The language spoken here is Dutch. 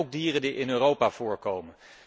Dat zijn ook dieren die in Europa voorkomen.